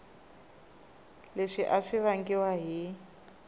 leswi a swi vangiwa hi